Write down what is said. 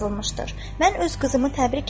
Mən öz qızımı təbrik edirəm.